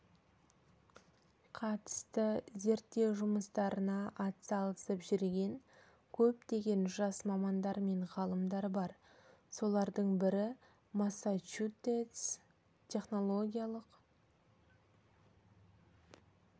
қатысты зерттеу жұмыстарына атсалысып жүрген көптеген жас мамандар мен ғалымдар бар солардың бірі массачусетс технологиялық